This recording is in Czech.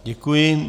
Děkuji.